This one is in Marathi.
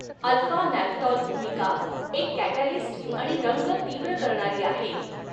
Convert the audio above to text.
अल्फा नॅफ्थॉल भूमिका एक कॅटॅलिस्ट आणि रंग तीव्र करणारी आहे.